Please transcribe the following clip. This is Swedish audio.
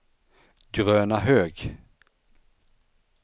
Grönahög